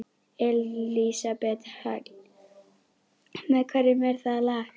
Elísabet Hall: Með hverjum er það lag?